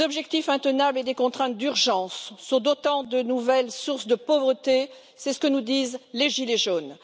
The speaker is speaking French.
Les objectifs intenables et des contraintes d'urgence sont autant de nouvelles sources de pauvreté, c'est ce que nous disent les gilets jaunes.